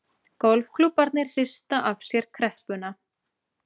Golfklúbbarnir hrista af sér kreppuna